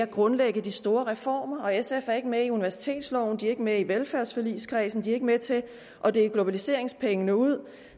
grundlægges de store reformer og sf er ikke med i universitetsloven de er ikke med i velfærdsforligskredsen de er ikke med til at dele globaliseringspengene ud